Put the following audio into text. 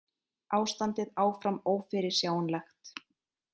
Ástandið áfram ófyrirsjáanlegt